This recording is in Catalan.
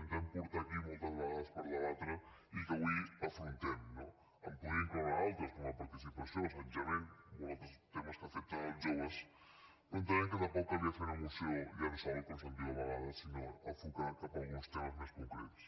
intentem portar aquí moltes vegades per debatre i que avui afrontem no en podria incloure altres com la participació l’assetjament molts altres temes que afecten els joves però entenem que tampoc calia fer una moció llençol com se’n diu a vegades sinó enfocar la cap a uns temes més concrets